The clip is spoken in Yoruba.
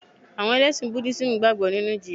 Àwọn Ẹlẹ́sìn Budísímù gbàgbọ́ nínu ìjìyà